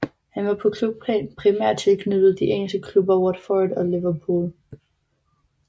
Han var på klubplan primært tilknyttet de engelske klubber Watford og Liverpool